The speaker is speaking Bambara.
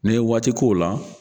Ni n ye waati k'o la